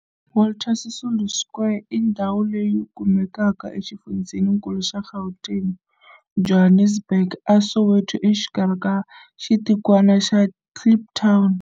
Walter Sisulu Square i ndhawu leyi kumekaka exifundzhenikulu xa Gauteng, Johannesburg, a Soweto, exikarhi ka xitikwana xa Kliptown.